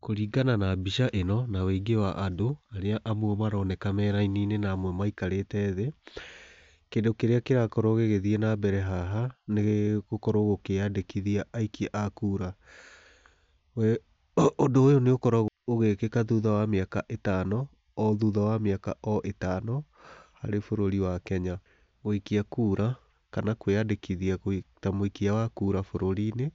Kũringana na mbica ĩno, na ũingĩ wa andũ, arĩa amwe maroneka me raini-inĩ na amwe maikarĩte thĩ, kĩndũ kĩrĩa kĩrakorwo gĩgĩthiĩ na mbere haha nĩ gũkorwo gũkĩandĩkithia aikia a kura. Ũndũ ũyũ nĩ ũkoragwo ũgĩkĩka thutha wa mĩaka ĩtano, o thutha wa mĩaka o ĩtano harĩ bũrũri wa Kenya. Gũikia kura, kana kwĩyandĩkĩthia ta mũikia wa kura bũrũri-inĩ,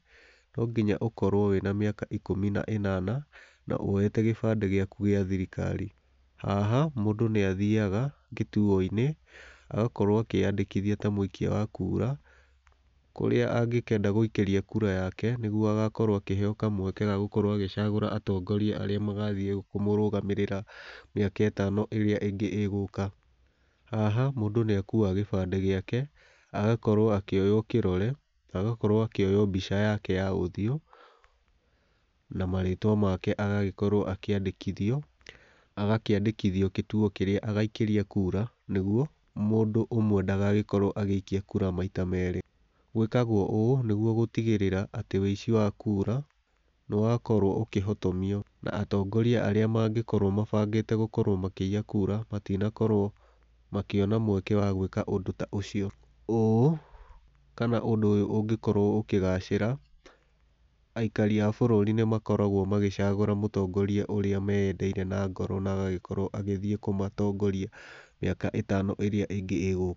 no nginya ũkorwo wĩ na mĩaka ikũmi na ĩnana, na woete gĩbandĩ gĩaku gĩa thirikari. Haha, mũndũ nĩ athiaga kituo-inĩ, agakorwo akĩyandĩkithia ta mũikia wa kura kũrĩa angĩkenda gũikĩria kura yake, nĩguo akaheo kamweke ya gũkorwo agĩcagũra atongoria arĩa magathĩ kũmũrũgamĩrĩra mĩaka ĩtano ĩrĩa ĩngĩ ĩgũka. Haha, mũndũ nĩ akuaga gĩbandĩ gĩake, agakorwo akĩoywo kĩrore na agakorwo akĩoywo mbica yake ya ũthiũ, na marĩtwa make agagĩkorwo akĩandĩkithio. Agakĩandĩkithio gũtuo kĩrĩa agaikĩria kura nĩguo mũndũ ũmwe ndagagĩkorwo agĩikia kura maita merĩ. Gwĩkagwo ũũ nĩguo gũtigĩrĩra atĩ ũici wa kura nĩ wakorwo ũkĩhotomio na atongoria arĩa mangĩkorwo mabangĩte gũkorwo makĩiya kura, matinakorwo makĩona mweke wa gwĩka ũndũ ta ũcio. Ũũ, kana ũndũ ũyũ ũngĩkorwo ũkĩgacĩra aikari a bũrũri nĩ makoragwo magĩcagũra mũtongoria ũrĩa meeyendeire na ngoro na agagĩkorwo agĩthiĩ kũmatongoria mĩaka ĩtano ĩrĩa ĩngĩ ĩgũka.